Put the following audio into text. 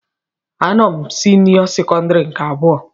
A nọ m senio sekondari nke abụọ.